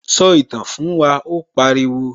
Sọ ìtàn fún wa', ó pariwo